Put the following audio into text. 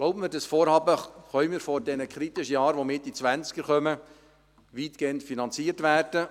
Glauben Sie mir: Dieses Vorhaben kann vor den kritischen Jahren, die Mitte der 2020er-Jahre anstehen, weitgehend finanziert werden.